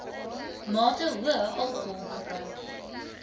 mate hoë alkoholgebruik